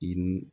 I ni